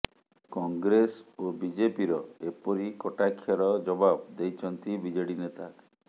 କଂଗ୍ରେସ ଓ ବିଜେପିର ଏପରି କଟାକ୍ଷର ଜବାବ ଦେଇଛନ୍ତି ବିଜେଡି ନେତା